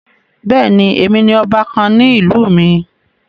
Bẹ́ẹ̀ni, èmi ni ọba kàn ní ìlú mi.